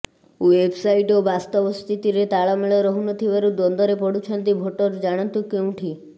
website ଓ ବାସ୍ତବ ସ୍ଥିତିରେ ତାଳମେଳ ରହୁନଥିବାରୁ ଦ୍ୱନ୍ଦ୍ବରେ ପଡୁଛନ୍ତି ଭୋଟର ଜାଣନ୍ତୁ କେଉଁଠି